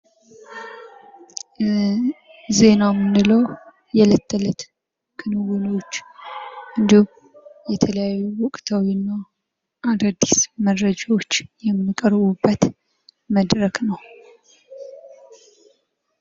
ዜና ምንለው የዕለት ተዕለት ክንውኖችን እንዲሁም የተለያዩ ወቅታዊና አዳዲስ መረጃዎች የሚቀርቡበት መድረክ ነው።